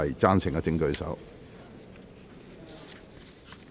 贊成的請舉手。